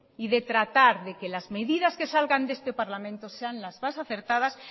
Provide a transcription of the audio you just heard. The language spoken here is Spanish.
y de tratar de que las medidas que salgan de este parlamento sean las más acertadas